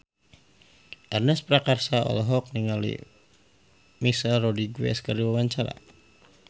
Ernest Prakasa olohok ningali Michelle Rodriguez keur diwawancara